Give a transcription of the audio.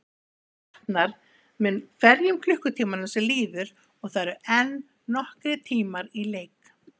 Mér batnar með hverjum klukkutímanum sem líður og það eru enn nokkrir tímar í leik.